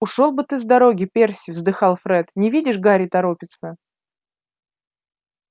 ушёл бы ты с дороги перси вздыхал фред не видишь гарри торопится